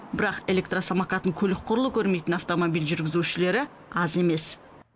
бірақ электросамокатын көлік құрлы көрмейтін автомобиль жүргізушілері аз емес